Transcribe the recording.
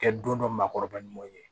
Kɛ don dɔ maakɔrɔba ɲuman ye